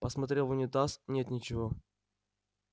посмотрел в унитаз нет ничего